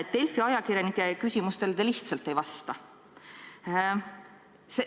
Delfi ajakirjanike küsimustele te lihtsalt ei vasta.